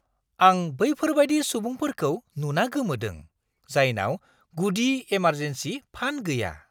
आं बैफोरबायदि सुबुंफोरखौ नुना गोमोदों, जायनाव गुदि एमारजेन्सि फान्ड गैया।